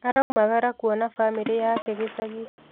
Araumagara kuona bamĩrĩ yake gĩcagi